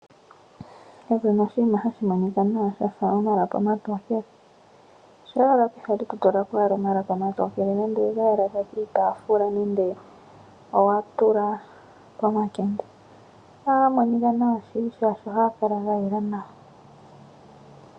Kapu na oshinima hashi monika nawa sha fa omalapi omatokele. Shampa owala pehala e to tula po omalapi omatokele nenge owe ga yala kiitaafula nenge owa tula pomakende, ohaga monika nawa shili, oshoka ohaga kala ga yela nawa.